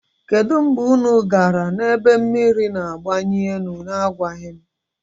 Kedu mgbe unu gara na ebe mmiri na abalị elu na-agwaghị m?